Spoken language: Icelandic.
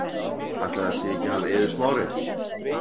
Ætli það sé ekki hann Eiður Smári.